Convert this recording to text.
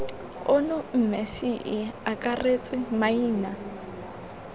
ono mme ce akaretse maina